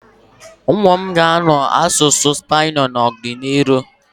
Ụmụ m ga-amụ asụsụ Spnishị n'ọdịnihu.